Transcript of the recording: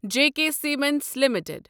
JK cements limited